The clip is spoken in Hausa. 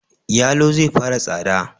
Yalo zai fara tsada